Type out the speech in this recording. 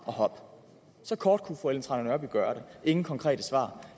og hop så kort kunne fru ellen trane nørby gøre det ingen konkrete svar